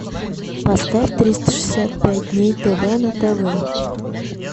поставь триста шестьдесят пять дней тв на тв